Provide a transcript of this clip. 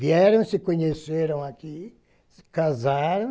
Vieram, se conheceram aqui, se casaram,